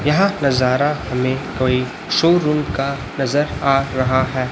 यह नजारा हमें कोई शोरूम का नजर आ रहा है।